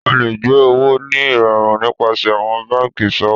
O lè gbé owó ní ìrọrùn nípasẹ̀ àwọn banki ìṣòwò.